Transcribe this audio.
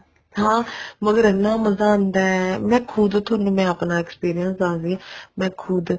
ਹਾਂ ਮਗਰ ਇੰਨਾ ਮਜ਼ਾ ਆਉਂਦਾ ਖੁਦ ਥੋਨੂੰ ਮੈਂ ਆਪਣਾ experience ਦੱਸਦੀ ਹਾਂ ਮੈਂ ਖੁਦ